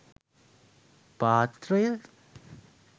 පාත්‍රය,